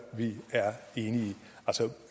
en